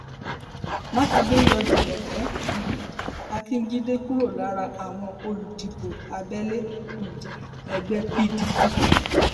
mákindé yọ júmọkè um akíǹjídé kúrò lára àwọn olùdìbò abẹlé um ẹgbẹ pdp